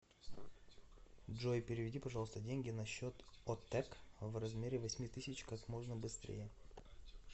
джой переведи пожалуйста деньги на счет отэк в размере восьми тысяч как можно быстрее